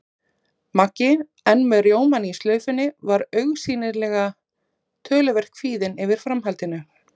Maggi, enn með rjómann í slaufunni, var augsýnilega töluvert kvíðinn yfir framhaldinu.